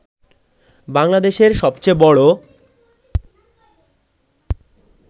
বাংলাদেশের সবচেয়ে বড়